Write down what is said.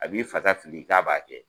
A b'i fa fili k'a b'a kɛ.